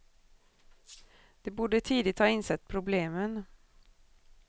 De borde tidigt ha insett problemen.